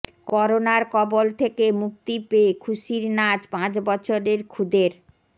করোনার কবল থেকে মুক্তি পেয়ে খুশির নাচ পাঁচ বছরের খুদের